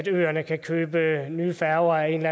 øerne kan købe nye færger af en